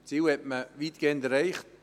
Die Ziele hat man weitgehend erreicht.